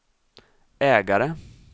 ägare